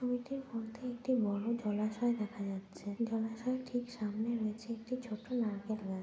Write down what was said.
ছবিটির মধ্যে একটি বড় জলাশয় দেখা যাচ্ছে জলাশয়ের ঠিক সামনে রয়েছে একটি ছোট নারকেল গাছ।